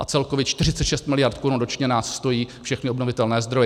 A celkově 46 miliard korun ročně nás stojí všechny obnovitelné zdroje.